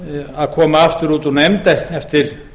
að koma aftur út úr nefnd eftir